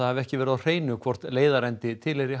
hafi verið á hreinu hvort leiðarendi tilheyri